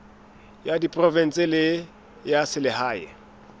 ya diprovense le ya selehae